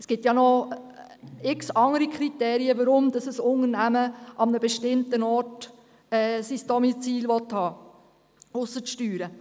Es gibt zig andere Kriterien, warum ein Unternehmen an einem bestimmten Ort sein Domizil haben will, ausser den Steuern.